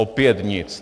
Opět nic.